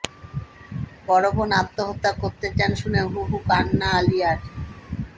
বড় বোন আত্মহত্যা করতে চান শুনে হু হু কান্না আলিয়ার